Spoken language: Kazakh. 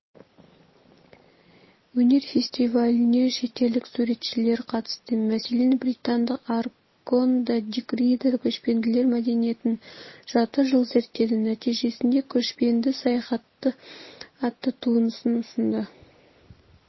өнер фестиваліне шетелдік суретшілер қатысты мәселен британдық арагонда дик-рида көшпенділер мәдениетін жарты жыл зерттеді нәтижесінде көшпенді саяхаты атты туындысын ұсынды